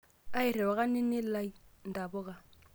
airiwaka nini lai intapuka